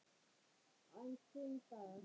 Aðeins fimm dagar.